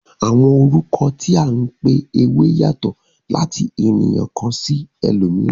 Àwọn orúkọ tí a n pé ewé yatọ̀ láti ènìyàn kàn sí elòmíràn.